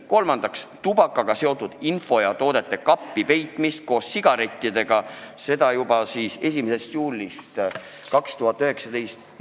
Kolmandaks, tubakaga seotud info ja toodete kuhugi kappi peitmine koos sigarettidega, seda juba 1. juulist 2019.